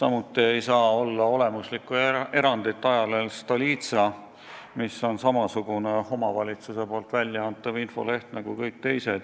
ja et ka ei saa olla olemusliku erandit ajalehe Stolitsa puhul, mis on samasugune omavalitsuse infoleht nagu kõik teised.